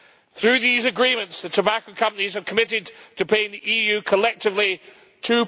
Through these agreements, the tobacco companies have committed to paying the EU collectively USD